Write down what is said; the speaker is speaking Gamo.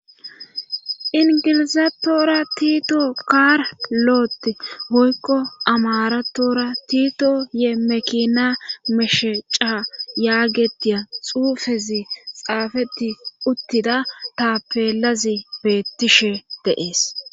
ingilizathora tiito kaar lo7ot hoykqo amaratora tito ye mekina mesheca yaagetiya xuufezi xaafeti uttida tapelazi beettishe deees